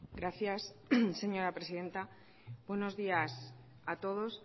gracias señora presidenta buenos días a todos